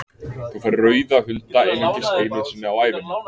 Þú færð rauða hunda einungis einu sinni á ævinni.